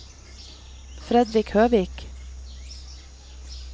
Fredrik Høvik